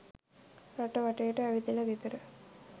රට වටේම ඇවිදල ගෙදර